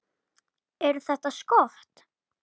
Eru þetta skot.